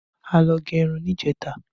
A lọ gẹ irun ní ìjẹta